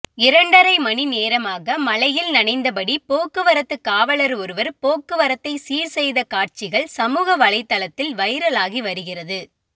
இரண்டரை மணி நேரமாக மழையில் நனைந்தபடி போக்குவரத்து காவலர் ஒருவர் போக்குவரத்தை சீர்செய்த காட்சிகள் சமூக வலைதளத்தில் வைரலாகி வருகிறது